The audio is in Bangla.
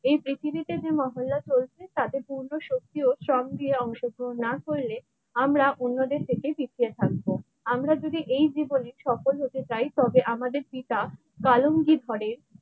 এই পৃথিবীতে যে মহল্লা চলছে তাতে পূর্ণ শক্তি ও অংশগ্রহণ না করলে আমরা অন্যদের থেকে পিছিয়ে থাকবো। আমরা যদি এই জীবনে সফল হতে চাই তবে আমাদের পিতা তালঙ্গি ঘরে।